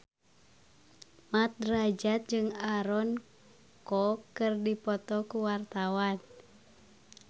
Mat Drajat jeung Aaron Kwok keur dipoto ku wartawan